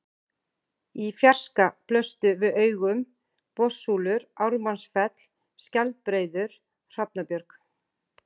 Í fjarska blöstu við augum Botnssúlur, Ármannsfell, Skjaldbreiður, Hrafnabjörg